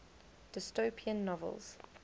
dystopian novels